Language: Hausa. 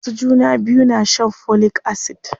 Masu juna biyu na shan folic acid.